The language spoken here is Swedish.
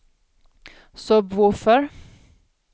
sub-woofer